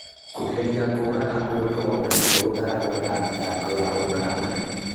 Kũgeria kũũraga mũndũ o nakuo gũtaragwo ta thitango ya umaramari.